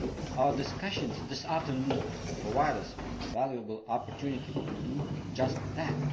Our discussions this afternoon provide us with a valuable opportunity to do just that.